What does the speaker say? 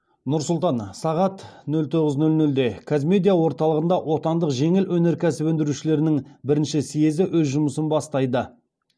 нұр сұлтан сағат нөл тоғыз нөл нөлде қазмедиа орталығында отандық жеңіл өнеркәсіп өндірушілерінің бірінші съезі өз жұмысын бастайды